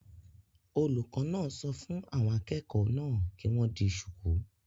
Olùkọ́ náà sọ fún àwọn akẹ́kọ̀ọ́ náà kí wọ́n di shùkú